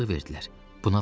Sənə azadlıq verdilər.